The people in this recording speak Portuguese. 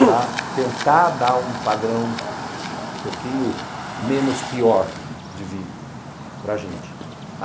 para tentar dar um padrão um pouquinho menos pior de vida para a gente.